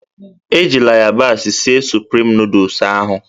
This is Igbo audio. Ejila yabasị sịe Sụprịm nooduls ahụ